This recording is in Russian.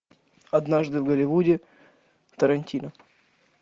однажды в голливуде тарантино